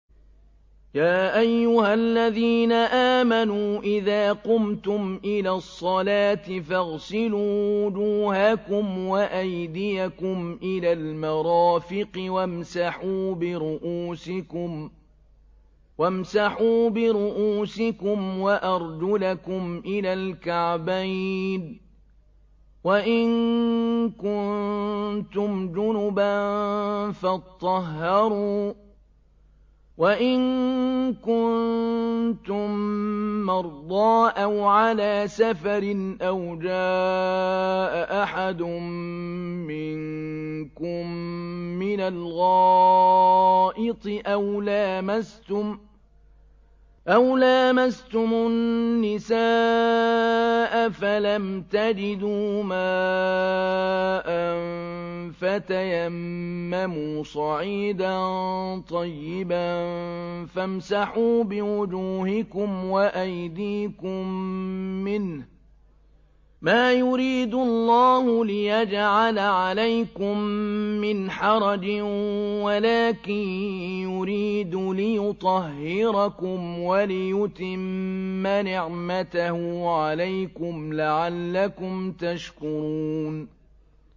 يَا أَيُّهَا الَّذِينَ آمَنُوا إِذَا قُمْتُمْ إِلَى الصَّلَاةِ فَاغْسِلُوا وُجُوهَكُمْ وَأَيْدِيَكُمْ إِلَى الْمَرَافِقِ وَامْسَحُوا بِرُءُوسِكُمْ وَأَرْجُلَكُمْ إِلَى الْكَعْبَيْنِ ۚ وَإِن كُنتُمْ جُنُبًا فَاطَّهَّرُوا ۚ وَإِن كُنتُم مَّرْضَىٰ أَوْ عَلَىٰ سَفَرٍ أَوْ جَاءَ أَحَدٌ مِّنكُم مِّنَ الْغَائِطِ أَوْ لَامَسْتُمُ النِّسَاءَ فَلَمْ تَجِدُوا مَاءً فَتَيَمَّمُوا صَعِيدًا طَيِّبًا فَامْسَحُوا بِوُجُوهِكُمْ وَأَيْدِيكُم مِّنْهُ ۚ مَا يُرِيدُ اللَّهُ لِيَجْعَلَ عَلَيْكُم مِّنْ حَرَجٍ وَلَٰكِن يُرِيدُ لِيُطَهِّرَكُمْ وَلِيُتِمَّ نِعْمَتَهُ عَلَيْكُمْ لَعَلَّكُمْ تَشْكُرُونَ